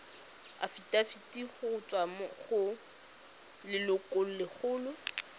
afitafiti go tswa go lelokolegolo